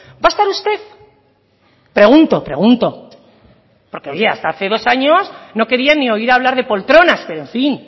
va a estar usted pregunto pregunto porque oye hasta hace dos años no querían ni oír hablar de poltronas pero en fin